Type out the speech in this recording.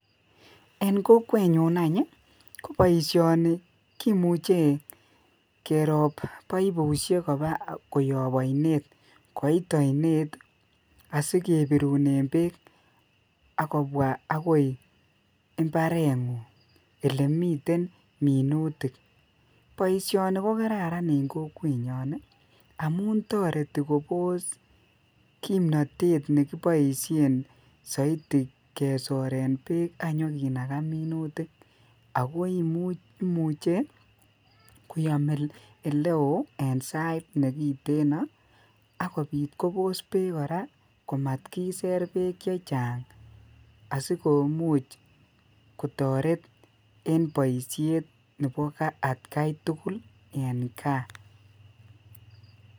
En kokwet nyuun aany ii agere ko boisioni kimuchei keroop baibusheek koyaap ainet koit aineit asikebirunen beek agoi mbaret ngung ,ele miten minutik boisioni ko kararan en kokwet nyaany ii amuun taretii koboos kimnatet nekibaisheen zaidi kesoreen beek ak inyo kinagaa minutik che koyaam ole wooh sait nekitenaan akobiit koboos beek komat kisser beek che chaang asikomuuch kotaret en boisiet nebo at gai tugul en gaah.